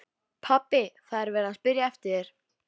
Pabbi, það er verið að spyrja eftir þér.